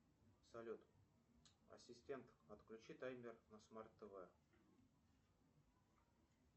салют ассистент отключи таймер на смарт тв